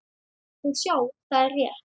Og sjá, það er rétt.